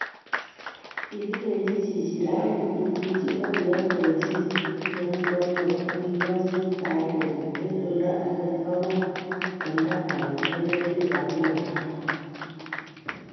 Kigilenji chichirani kimuchi ageyoe boishiet neunoto asigokasak kainenyieng eng oldo agenge kowo agoi oldo age eng emet tab London